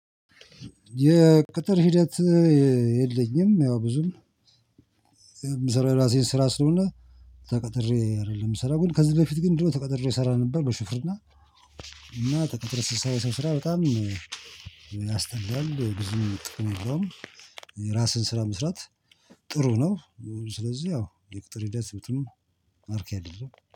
የቅጥር ሂደት የለኝም። ያው ብዙም የምሰራው የራሴን ስራ ስለሆነ ተቀጥሬ አይደለም የምሰራው። ግን ከዚህ በፊት ግን ድሮ ተቀጥሬ እሰራ ነበር በሹፍርና። እና ተቀጥሬ ስሰራ የሰው ስራ በጣም እናስጠላለን ጊዜን ጥቅም የለውም ራስህን ስራ መስራት ጥሩ ነው። ስለዚህ ያው የቅጥር ሂደት ብዙም አርኪ አይደለም